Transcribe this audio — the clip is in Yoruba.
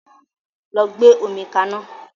Lọ gbe omi ka ná!